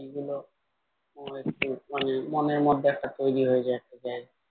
সেইগুলো মনে একটু মানে মনের মধ্যে একটা তৈরী হয়ে যায় একটা যে